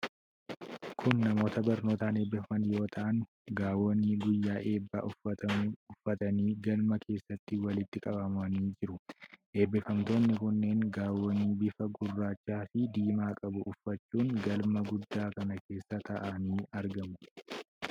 Kun namoota barnootaan eebbifaman yoo ta'an, gaawonii guyyaa eebbaa uffatamu uffatanii galma keessatti walitti qabamanii jiru. Eebbifamtoonni kunneen gaawonii bifa gurraacha fi diimaa qabu uffachuun galma guddaa kana keessa taa'anii argamu.